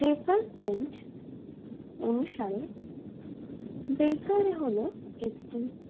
dacer pand অনুসারে বেকারে হলো একটি